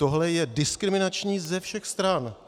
Tohle je diskriminační ze všech stran.